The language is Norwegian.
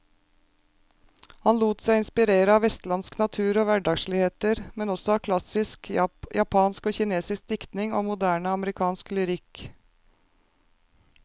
Han lot seg inspirere av vestlandsk natur og hverdagsligheter, men også av klassisk japansk og kinesisk diktning og moderne amerikansk lyrikk.